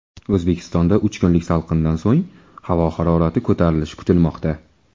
O‘zbekistonda uch kunlik salqindan so‘ng havo harorati ko‘tarilishi kutilmoqda.